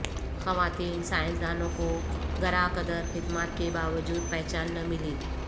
خواتین سائنسدانوں کو گراں قدر خدمات کے باوجود پہچان نہ ملی